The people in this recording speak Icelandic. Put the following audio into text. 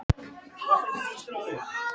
Karína, ég kom með fimmtíu og sjö húfur!